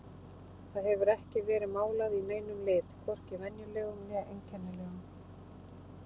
Það hefur ekki verið málað í neinum lit, hvorki venjulegum né einkennilegum.